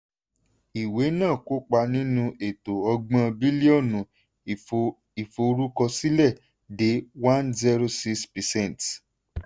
ìwé náà kópa nínú eto ọgbọ̀n bílíọ̀nù ìfo ìforúkọsílẹ̀ de one zero six percent.